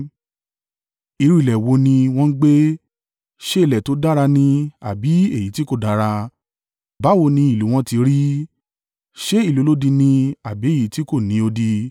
Irú ilẹ̀ wo ni wọ́n gbé? Ṣé ilẹ̀ tó dára ni àbí èyí tí kò dára? Báwo ni ìlú wọn ti rí? Ṣé ìlú olódi ni àbí èyí tí kò ní odi?